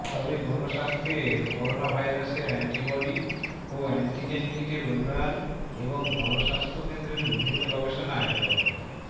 তবে গণস্বাস্থ্যের করোনাভাইরাসের অ্যান্টিবডি ও অ্যান্টিজেন কিটের উন্নয়ন এবং গণস্বাস্থ্য কেন্দ্রের বিভিন্ন গবেষণায় ড